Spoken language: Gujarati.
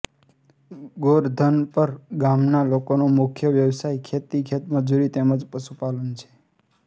ગોરધનપર ગામના લોકોનો મુખ્ય વ્યવસાય ખેતી ખેતમજૂરી તેમ જ પશુપાલન છે